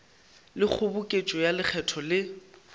le kgoboketšo ya lekgetho le